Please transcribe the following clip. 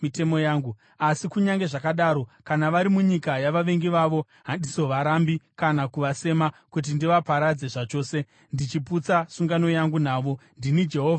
Asi kunyange zvakadaro, kana vari munyika yavavengi vavo, handizovarambi kana kuvasema kuti ndivaparadze zvachose, ndichiputsa sungano yangu navo. Ndini Jehovha Mwari wavo.